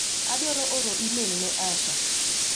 Adwaro oro imel ne Asha.